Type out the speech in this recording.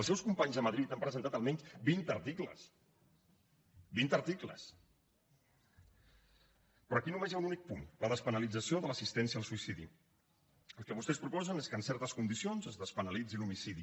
els seus companys a madrid han presentat almenys vint articles vint articles però aquí només hi ha un únic punt la despenalització de l’assistència al suïcidi el que vostès proposen és que en certes condicions es despenalitzi l’homicidi